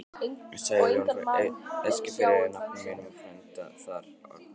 Sæljón frá Eskifirði af nafna mínum og frænda þar, Árna